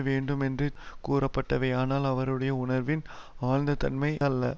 வேண்டுமென்றே கூறப்பட்டவை ஆனால் அவருடைய உணர்வின் ஆழ்ந்த தன்மை அல்ல